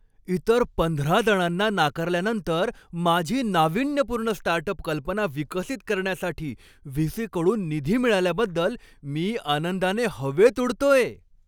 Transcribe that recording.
इतर पंधरा जणांना नाकारल्यानंतर माझी नाविन्यपूर्ण स्टार्टअप कल्पना विकसित करण्यासाठी व्ही. सी. कडून निधी मिळाल्याबद्दल मी आनंदाने हवेत उडतोय.